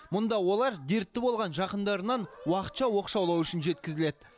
мұнда олар дертті болған жақындарынан уақытша оқшаулау үшін жеткізіледі